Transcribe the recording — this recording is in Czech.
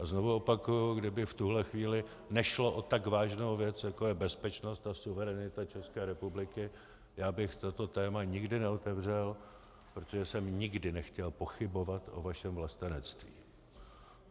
A znovu opakuji, kdyby v tuto chvíli nešlo o tak vážnou věc, jako je bezpečnost a suverenita České republiky, já bych toto téma nikdy neotevřel, protože jsem nikdy nechtěl pochybovat o vašem vlastenectví.